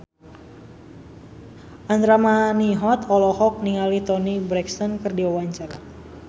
Andra Manihot olohok ningali Toni Brexton keur diwawancara